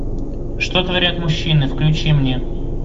что творят мужчины включи мне